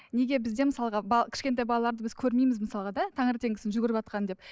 неге бізде мысалға кішкентай балаларды біз көрмейміз мысалға да таңертеңгісін жүгіріватқанын деп